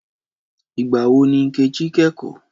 Ìgbà wo ni Nkechi kẹ́kọ̀ọ́?